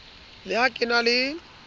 le ha ke na le